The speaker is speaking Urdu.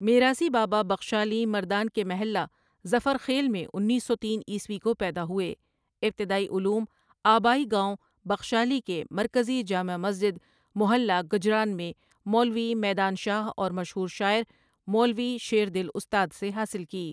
میراثی بابا بخشالی مردان کے محلہ ظفرخیل میں انیس سو تین عیسوی کوپیداہوئے ابتدائی علوم آبائی گاؤں بخشالی کے مرکزی جامع مسجدمحلہ گجران میں مولوی میدان شاہ اورمشہورشاعرمولوی شیردل اُستادسے حاصل کی